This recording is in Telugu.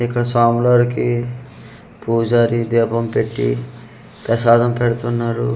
ఇక్కడ స్వాములోరికి పూజారి దీపం పెట్టి పెసాదం పెడుతున్నారు.